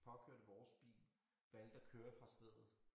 Påkørte vores bil valgte at køre fra stedet